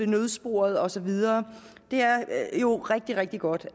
nødsporet og så videre det er jo rigtig rigtig godt